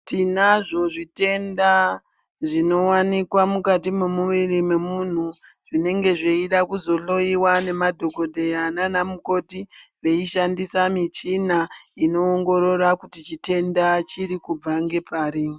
Tinazvo zvitenda zvinowanikwa mukati momuyiri momunhu, zvinenge zveyida kuzohloyiwa nemadhokodheya nanamukoti veyishandisa michina ino ongorora kuti chitenda chirikubva ngepari.